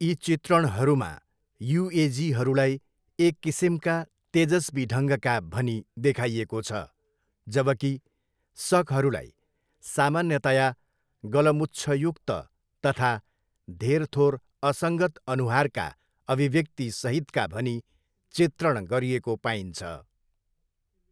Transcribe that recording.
यी चित्रणहरूमा युएजीहरूलाई एक किसिमका तेजस्वी ढङ्गका भनी देखाइएको छ जबकि सकहरूलाई सामान्यतया गलमुच्छयुक्त तथा धेरथोर असङ्गत अनुहारका अभिव्यक्ति सहितका भनी चित्रण गरिएको पाइन्छ।